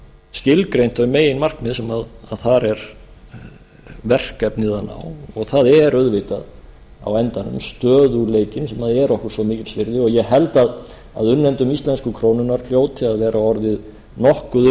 skilgreint þau meginmarkmið sem þar er verkefnið að náð það er auðvitað á endanum stöðugleikinn sem er okkur svo mikils virði og ég held að unnendum íslensku krónunnar hljóti að vera orðið nokkuð